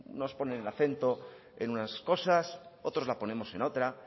unos ponen el acento en unas cosas otros la ponemos en otra